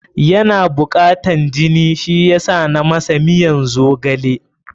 Yana bukatan jini, shi yasa na masa miyan zogale.